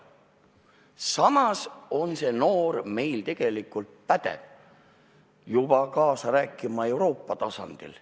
Samas on see noor juba pädev kaasa rääkima Euroopa tasandil.